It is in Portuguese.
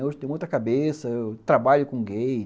Hoje eu tenho outra cabeça, eu trabalho com gays.